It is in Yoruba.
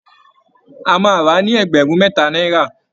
A máa rà á ní ẹgbẹ̀rún mẹ́ta náírà